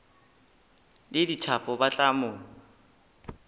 le dithapo ba tla mo